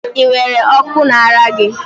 Ị nwere Okó na ara gị?